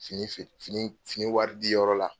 Fini fe fini fini wari di yɔrɔ la.